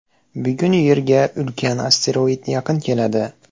Bugun Yerga ulkan asteroid yaqin keladi.